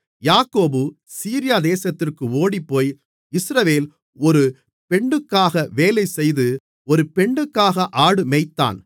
யாக்கோபு சீரியா தேசத்திற்கு ஓடிப்போய் இஸ்ரவேல் ஒரு பெண்ணுக்காக வேலைசெய்து ஒரு பெண்ணுக்காக ஆடு மேய்த்தான்